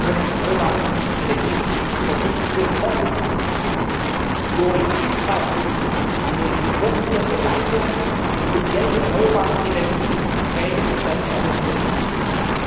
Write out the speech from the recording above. Wir können erneuerbare Energien unterstützen durch Forschungsmittel, durch Infrastruktur, durch die Kofinanzierung von Leitungen, die speziell für erneuerbare Energieträger und Standorte wichtig sind.